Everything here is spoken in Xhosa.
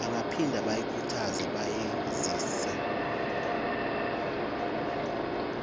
bangaphinda bayikhuthaze bayizinzise